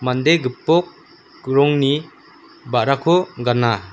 mande gipok rongni ba·rako gana.